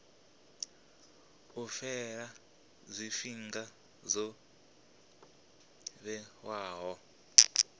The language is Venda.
u fhela tshifhinga tsho vhewaho